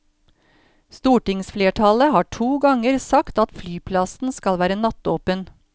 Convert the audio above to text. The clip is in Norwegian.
Stortingsflertallet har to ganger sagt at flyplassen skal være nattåpen.